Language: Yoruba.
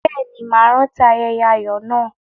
Bẹ́ẹ̀ ni, màá rántí ayẹyẹ ayọ̀ náà.